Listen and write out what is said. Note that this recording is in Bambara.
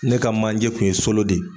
Ne ka manje kun ye solo de.